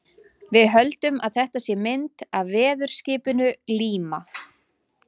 Við höldum að þetta sé mynd af veðurskipinu Líma.